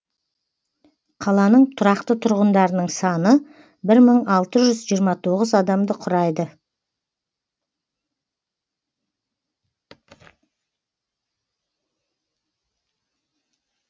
қаланың тұрақты тұрғындарының саны бір мың алты жүз жиырма тоғыз адамды құрайды